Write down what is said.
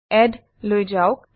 add লৈ যাওক